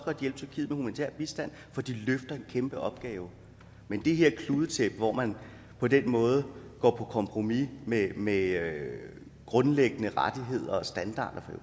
hjælpe humanitær bistand for de løfter en kæmpe opgave men det her kludetæppe hvor man på den måde går på kompromis med med grundlæggende rettigheder og standarder